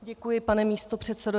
Děkuji, pane místopředsedo.